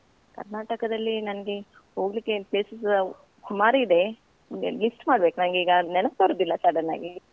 ಕರ್ನಾಟಕದಲ್ಲಿ ನನ್ಗೆ ಹೋಗ್ಲಿಕ್ಕೇ places ಸುಮಾರಿದೆ ಅಂದ್ರೆ list ಮಾಡ್ಬೇಕು ನಂಗೀಗ ನೆನ್ಪ್ ಬರುದಿಲ್ಲ sudden ಆಗಿ.